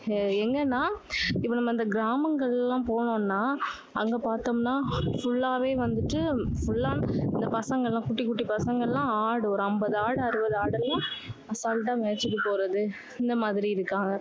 ஆஹ் எங்கன்னா, இப்ப நம்ம இந்த கிராமங்கள் எல்லாம் போனோம்னா, அங்க பாத்தோம்னா, full லாவே வந்துட்டு full லா இந்த பசங்க எல்லாம், குட்டி குட்டி பசங்க எல்லாம் ஆடு, ஒரு ஐம்பது ஆடு, அறுபது ஆடு எல்லாம் அசால்டா மேய்ச்சுட்டு போறது, இந்த மாதிரி இருக்காங்க.